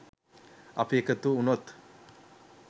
අපි එකතු වුණොත්